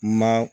Ma